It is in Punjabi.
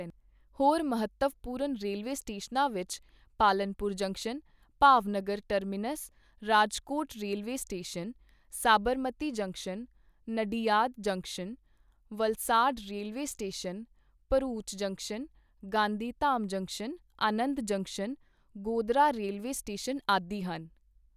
ਹੋਰ ਮਹੱਤਵਪੂਰਨ ਰੇਲਵੇ ਸਟੇਸ਼ਨਾਂ ਵਿੱਚ Palanpur junction, Bhavnagar terminus, Rajkot railway station, Sabarmati junction, Nadiad junction, Valsad railway station, Bharuch junction, Gandhidham junction, Anand junction, Godhra railway station ਆਦਿ ਹਨ।